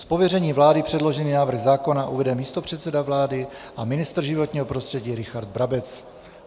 Z pověření vlády předložený návrh zákona uvede místopředseda vlády pan ministr životního prostředí Richard Brabec.